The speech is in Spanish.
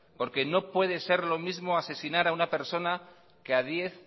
no puede ser lo mismo asesinar a una persona que a diez